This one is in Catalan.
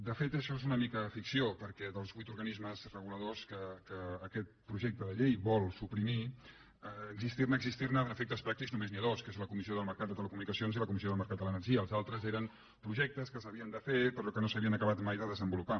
de fet això és una mica ficció perquè dels vuit organismes reguladors que aquest projecte de llei vol suprimir d’existir ne existir ne a efectes pràctics només n’hi ha dos que són la comissió del mercat de les telecomunicacions i la comissió del mercat de l’energia els altres eren projectes que s’havien de fer però que no s’havien acabat mai de desenvolupar